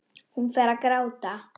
Hún fer að gráta.